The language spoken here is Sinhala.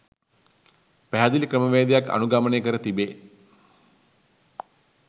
පැහැදිලි ක්‍රමවේදයක් අනුගමනය කර තිබේ.